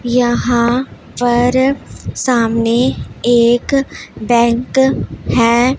यहां पर सामने एक बैंक हैं।